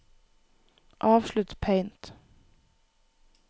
avslutt Paint